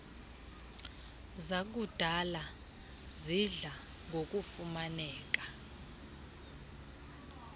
zakudala sidla ngokufumaneka